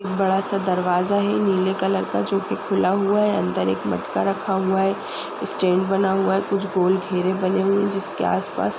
बड़ा सा दरवाजा है नीले कलर का जो कि खुला हुआ है। अंदर एक मटका रखा हुआ है। स्टैन्ड बना हुआ है। कुछ गोल घेरे बने हुए हैं जिसके आसपास --